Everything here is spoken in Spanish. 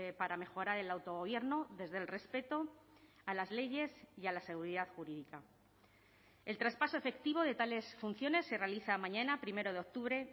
para mejorar el autogobierno desde el respeto a las leyes y a la seguridad jurídica el traspaso efectivo de tales funciones se realiza mañana primero de octubre